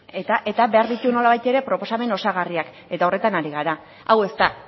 eta behar du nolabait ere proposamen osagarriak eta horretan ari gara hau ez da